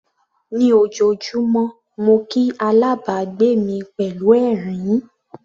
Ní ojoojúmọ́ mo kí alábàgbé mi pẹ̀lú ẹ̀rín.